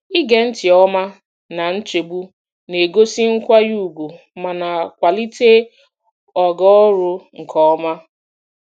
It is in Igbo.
Ige ntị nke ọma na nchegbu na-egosi nkwanye ùgwù ma na-akwalite ogo ọrụ nke ọma.